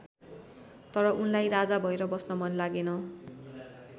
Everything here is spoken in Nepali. तर उनलाई राजा भएर बस्न मन लागेन।